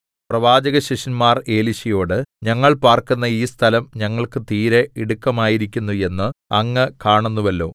പ്രവാചകശിഷ്യന്മാർ എലീശയോട് ഞങ്ങൾ പാർക്കുന്ന ഈ സ്ഥലം ഞങ്ങൾക്ക് തീരെ ഇടുക്കമായിരിക്കുന്നു എന്ന് അങ്ങ് കാണുന്നുവല്ലോ